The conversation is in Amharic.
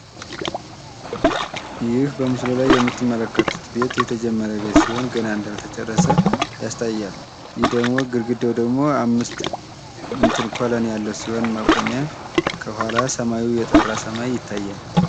ይህ በምስሉ ላይ የምትመለከቱት ቤት የተጀመረ ቤት ሲሆን ገና እንዳልተጨረሰ ያሳያል ይህ ደግሞ ግርግዳው ደግሞ አምስት ኮለን መቆሚያ ከኋላ ሰማያዊው ሰማዩ የጠራ ሰማይ ይታያል።